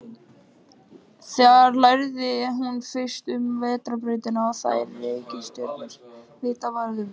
Þar lærði hún fyrst um vetrarbrautina og þær reikistjörnur sem vitað var um.